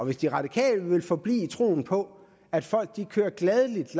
hvis de radikale vil forblive i troen på at folk gladeligt